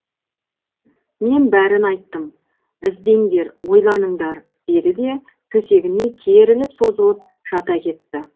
мен бәрін айттым іздеңдер ойланыңдар деді де төсегіне керіліп созылып жата кетті